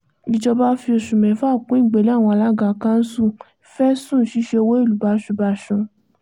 ìjọba fi oṣù mẹ́fà kún ìgbélé àwọn alága kanṣu fẹ̀sùn ṣíṣe owó ìlú báṣubàṣu